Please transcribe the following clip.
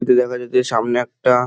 এতে দেখা যাচ্ছে সামনে একটা --